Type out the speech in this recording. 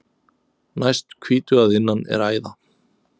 Næst hvítu að innan er æða.